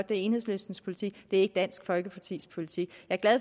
det er enhedslistens politik ikke dansk folkepartis politik